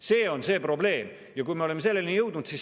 See on see probleem, milleni me oleme jõudnud.